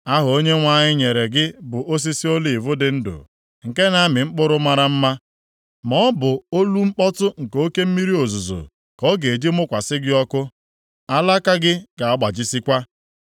Aha Onyenwe anyị nyere gị bụ Osisi oliv dị ndụ, nke na-amị mkpụrụ mara mma. Ma ọ bụ olu mkpọtụ nke oke mmiri ozuzo ka ọ ga-eji mụkwasị gị ọkụ; alaka gị ga-agbajisikwa.